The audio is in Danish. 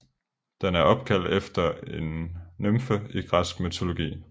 Den er opkaldt efter en nymfe i græsk mytologi